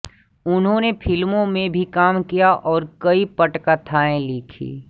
उन्होंने फ़िल्मों में भी काम किया और कई पटकथाएं लिखीं